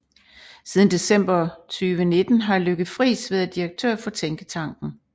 Siden december 2019 har Lykke Friis været direktør for tænketanken